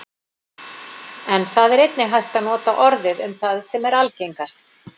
En það er einnig hægt að nota orðið um það sem er algengast.